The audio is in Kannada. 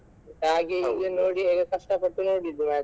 ಹಾಗೆ ಹೀಗೆ ನೋಡಿ ಕಷ್ಟ ಪಟ್ಟು ನೋಡಿದ್ದು match .